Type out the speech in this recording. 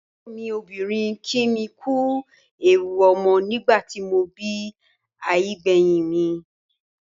Àbúrò mi obìnrin kí mi kú ewu ọmọ nígbà tí mo bí àbígbẹ̀yìn mi.